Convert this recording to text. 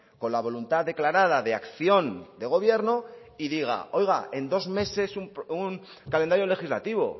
con la voluntad declarada de acción de gobierno y diga oiga en dos meses un calendario legislativo